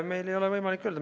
Meil ei ole võimalik öelda.